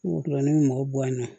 O la ne bɛ mɔgɔ bɔ an na